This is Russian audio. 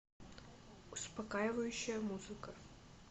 успокаивающая музыка